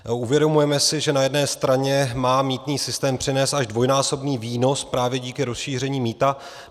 Uvědomujeme si, že na jedné straně má mýtný systém přinést až dvojnásobný výnos právě díky rozšíření mýta.